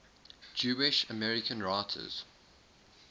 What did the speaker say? jewish american writers